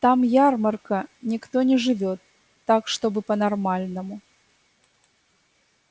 там ярмарка никто не живёт так чтобы по-нормальному